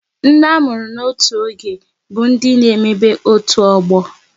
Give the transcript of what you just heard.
Ndị a mụrụ n'otu oge bụ ndị n'emebe otu ọgbọ